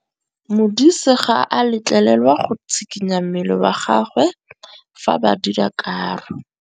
Modise ga a letlelelwa go tshikinya mmele wa gagwe fa ba dira karô.